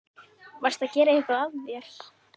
Varstu að gera eitthvað af þér?